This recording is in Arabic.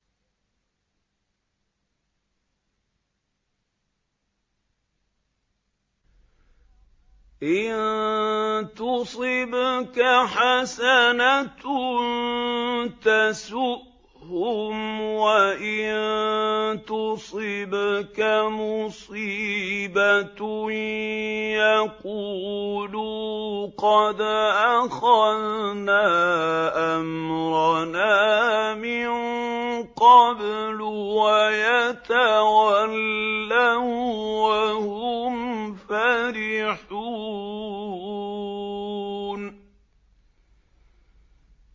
إِن تُصِبْكَ حَسَنَةٌ تَسُؤْهُمْ ۖ وَإِن تُصِبْكَ مُصِيبَةٌ يَقُولُوا قَدْ أَخَذْنَا أَمْرَنَا مِن قَبْلُ وَيَتَوَلَّوا وَّهُمْ فَرِحُونَ